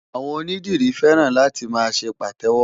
Àwọn onídìrí fẹ́ràn láti máa ṣe Pàtẹ́wọ́.